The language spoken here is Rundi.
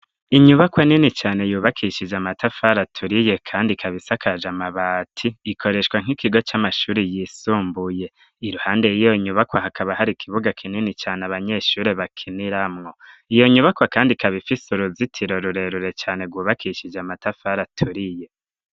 Inyubakwa nini cane yubakishije amatafari aturiye kandi ikaba isakaje amabati, ikoreshwa nk'ikigo c'amashuri yisumbuye, iruhande yiyo nyubako hakaba hari ikibuga kinini cane abanyeshuri bakiniramwo, iyo nyubakwa kandi kabifise uruzitiro rurerure cyane gubakishije amatafara aturiye,